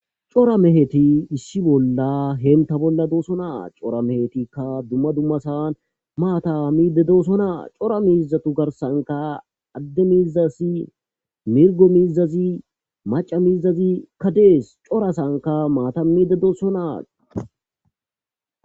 Cora meheti issi bolla doosona haytappeka issi cosanika mata mide dosona.